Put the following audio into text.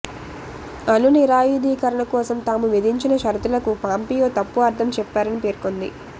అణు నిరాయుధీకరణ కోసం తాము విధించిన షరతులకు పాంపియో తప్పు అర్థం చెప్పారని పేర్కొంది